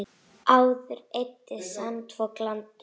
Áður sandfok eyddi landi.